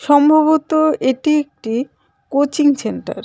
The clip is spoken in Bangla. সম্ভবত এটি একটি কোচিং সেন্টার .